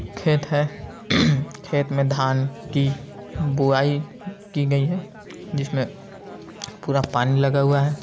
खेत है खेत में धान की बुआई की गई है जिसमें पूरा पानी लगा हुआ है ।